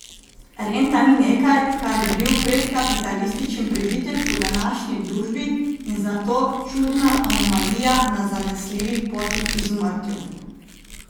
Renta ni nekaj, kar bi bil predkapitalističen prežitek v današnji družbi in zato čudna anomalija na zanesljivi poti k izumrtju.